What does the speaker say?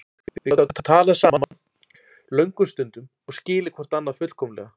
Við gátum talað saman löngum stundum og skilið hvort annað fullkomlega.